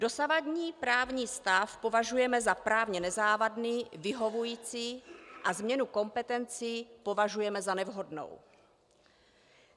Dosavadní právní stav považujeme za právně nezávadný, vyhovující a změnu kompetencí považujeme za nevhodnou.